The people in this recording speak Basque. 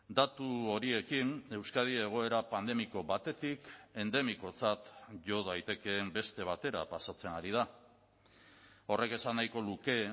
datu horiekin euskadi egoera pandemiko batetik endemikotzat jo daitekeen beste batera pasatzen ari da horrek esan nahiko luke